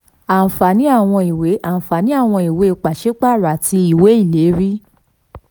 ànfààní àwọn ìwé ànfààní àwọn ìwé pàṣípààrọ̀ àti ìwé ìlérí.